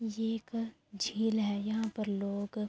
یہ ایک جھیل ہے۔ یہا پر لوگ--